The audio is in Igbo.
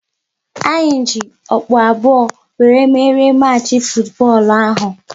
Anyị ji okpu abụọ wéré merie machi futubọọlu ahụ